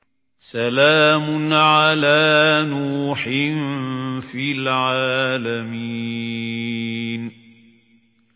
سَلَامٌ عَلَىٰ نُوحٍ فِي الْعَالَمِينَ